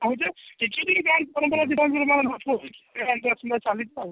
ଆଉ ଯେ କିଛି ବି change କରନ୍ତୁ ବା ସେଇଟା ଚାଲିଛି ଆଉ